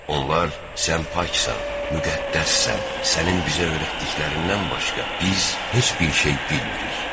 Onlar sən paksan, müqəddəssən, sənin bizə öyrətdiklərindən başqa biz heç bir şey bilmirik.